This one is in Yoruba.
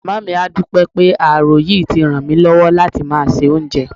Màmá mi á dúpẹ́ pé ààrò yìí ti ràn mí lọ́wọ́ láti máa se oúnjẹ